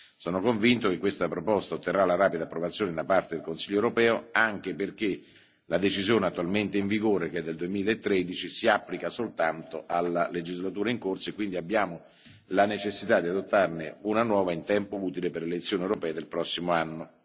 Sono convinto che questa proposta otterrà una rapida approvazione da parte del Consiglio europeo, anche perché la decisione attualmente in vigore, che è del 2013, si applica soltanto alla legislatura in corso e quindi abbiamo la necessità di adottarne una nuova in tempo utile per le elezioni europee del prossimo anno.